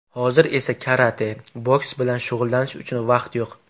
Hozir esa karate, boks bilan shug‘ullanish uchun vaqt yo‘q.